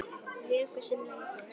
Vökvi sem leysir